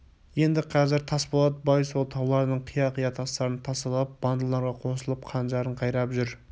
енді қазір тасболат бай сол таулардың қия-қия тастарын тасалап бандыларға қосылып қанжарын қайрап жүр